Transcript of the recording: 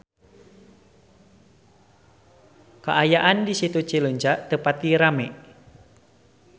Kaayaan di Situ Cileunca teu pati rame